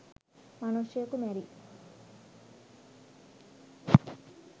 මනුෂ්‍යයකු මැරී